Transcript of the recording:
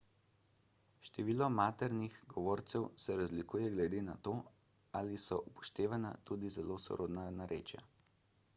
število maternih govorcev se razlikuje glede na to ali so upoštevana tudi zelo sorodna narečja